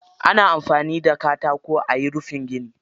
Ana amfani da katako ayi rufin gini.